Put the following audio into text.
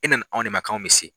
I na ni anw ne ma k'anw bɛ se.